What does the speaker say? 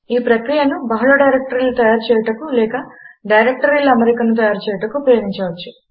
ఈ ప్రక్రియను బహుళ డైరెక్టరీలు తయారుచేయుటకు లేక డైరెక్టరీల అమరికను తయారు చేయుటకు ఉపయోగించవచ్చు